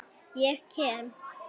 Ég kem.